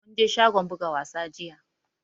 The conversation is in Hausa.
Mun je shagon buga wasa jiya